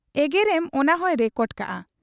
ᱮᱜᱮᱨᱮᱢ ᱚᱱᱟ ᱦᱚᱸᱭ ᱨᱮᱠᱚᱰ ᱠᱟᱜ ᱟ ᱾